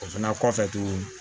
O fana kɔfɛ tuguni